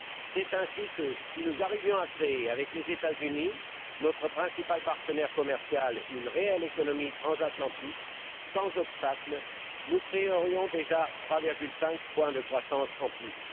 C'est ainsi que, si nous arrivions à créer avec les États Unis, notre principal partenaire commercial, une réelle économie transatlantique, sans obstacle, nous créerions déjà 3,5 points de croissance en plus.